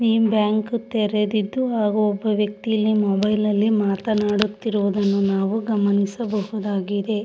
Bank ತೆರೆದಿದ್ದು ಹಾಗು ಒಬ್ಬ ವ್ಯಕ್ತಿ ಮೊಬೈಲ್ ಅಲ್ಲಿ ಮಾತನಾಡುತ್ತಿರುವುದು ನಾವು ಗಮನಿಸಬಹುದಾಗಿದೆ.